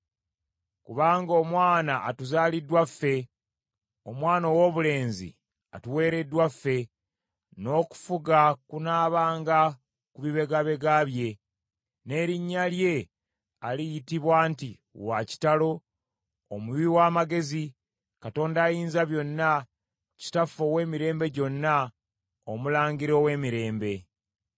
Kubanga omwana atuzaaliddwa ffe, omwana owoobulenzi atuweereddwa ffe, n’okufuga kunaabanga ku bibegabega bye. N’erinnya lye aliyitibwa nti, Wa kitalo, Omuwi w’amagezi, Katonda Ayinzabyonna, Kitaffe ow’Emirembe Gyonna, Omulangira w’Emirembe.